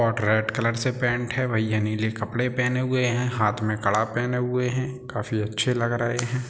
और red colour से paint है। भैया नीले कपड़े पहने हुए है। हाथ में कड़ा पहने हुए हैं। काफी अच्छे लग रहे हैं।